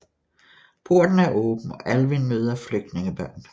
Porten er åben og Alvin møder flygtningebørn